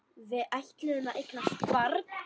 Við ætluðum að eignast barn.